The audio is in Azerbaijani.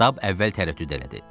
Stab əvvəl tərəddüd elədi.